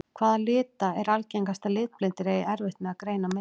Hvaða lita er algengast að litblindir eigi erfitt með að greina á milli?